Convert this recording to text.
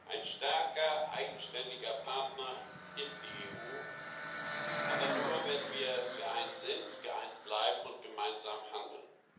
Ein starker eigenständiger Partner ist die EU aber nur, wenn wir geeint sind, geeint bleiben und gemeinsam handeln.